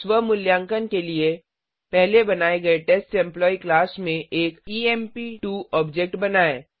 स्व मूल्यांकन के लिए पहले बनाए गए टेस्ट एम्प्लॉयी क्लास में एक ईएमपी2 ऑब्जेक्ट बनाएँ